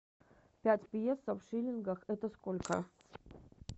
пять песо в шиллингах это сколько